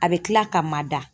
A bɛ kila ka mada